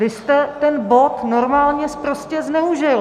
Vy jste ten bod normálně sprostě zneužil!